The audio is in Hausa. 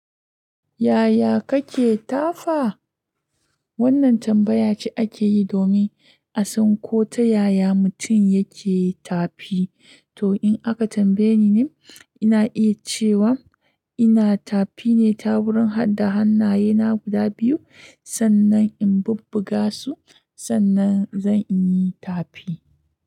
Yaya kake tafa? Wannan tambaya ce ake yi domin a san ko ta yaya mutum yake tafi. To in aka tambaye ni, ina iya cewa ina tafi ne ta wurin hada hannayena guda biyu, sannan in bubbuga su, sannan zan yi tafi.